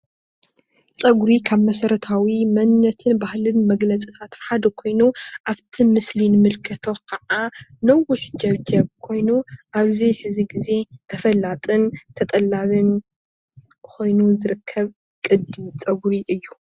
ፀጉሪ ካብ መሠረታዊ መንነትን ባህልን መግለፅታት ሓደ ኾይኑ ኣፍቲ ምስሊ እንምልከቶ ከዓ ነዊሕ ጀብጀብ ኾይኑ ኣብዚ ሕዚ ግዜ ተፈላጥን ተጠላብን ኮይኑ ዝርከብ ቅዲ ጻጉሪ እዩ።